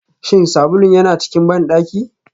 Shin sabulun yana cikin bandaki?